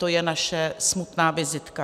To je naše smutná vizitka.